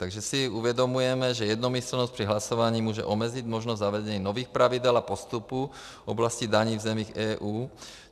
Takže si uvědomujeme, že jednomyslnost při hlasování může omezit možnost zavedení nových pravidel a postupů v oblasti daní v zemích EU.